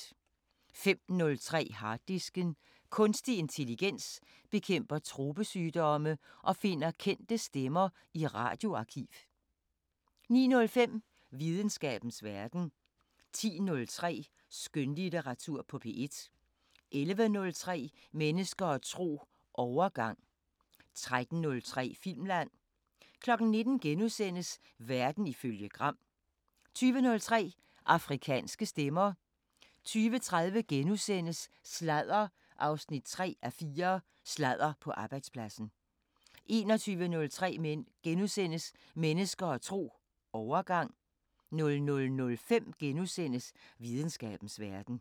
05:03: Harddisken: Kunstig intelligens bekæmper tropesygdomme og finder kendte stemmer i radioarkiv 09:05: Videnskabens Verden 10:03: Skønlitteratur på P1 11:03: Mennesker og tro: Overgang 13:03: Filmland 19:00: Verden ifølge Gram * 20:03: Afrikanske Stemmer 20:30: Sladder 3:4: Sladder på arbejdspladsen * 21:03: Mennesker og tro: Overgang * 00:05: Videnskabens Verden *